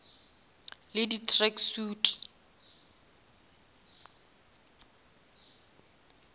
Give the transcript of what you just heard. le di track suit